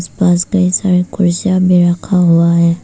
पास का एक साइड कुर्सियां भी रखा हुआ है।